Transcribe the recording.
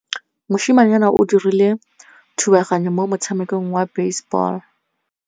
Mosimane o dirile thubaganyô mo motshamekong wa basebôlô.